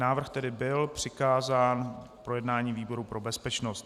Návrh tedy byl přikázán k projednání výboru pro bezpečnost.